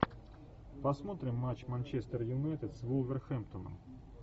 посмотрим матч манчестер юнайтед с вулверхэмптоном